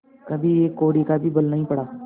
कभी एक कौड़ी का भी बल नहीं पड़ा